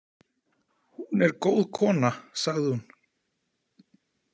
Hún er góð kona, sagði hún.